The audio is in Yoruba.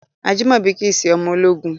Ajimobi kìí ṣe ọmọ ológun.